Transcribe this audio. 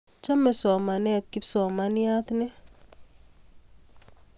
Chame somanet kipsomaniat ni